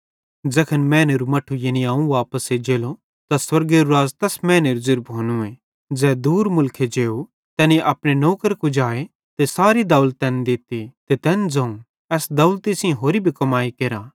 ज़ैखन मैनेरू मट्ठू यानी अवं वापस एज्जेलो त स्वर्गेरू राज़ तैस मैनेरो ज़ेरू भोनूए ज़ै दूर मुलखे जेव तैनी अपने नौकर कुजाए ते सारी दौलत तैन दित्ती ते तैन ज़ोवं एस दौलती सेइं होरि भी कमाई केरा